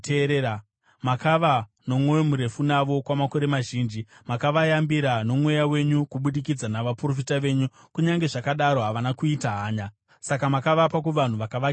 Makava nomwoyo murefu navo kwamakore mazhinji. Makavayambira noMweya wenyu kubudikidza navaprofita venyu. Kunyange zvakadaro havana kuita hanya, saka makavapa kuvanhu vavakavakidzana navo.